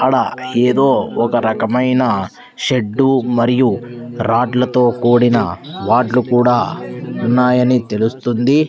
ఆడ ఏదో ఒక రకమైన షెడ్డు మరియు రాడ్ల తో కూడిన వార్డ్లు కూడా ఉన్నాయని తెలుస్తుంది.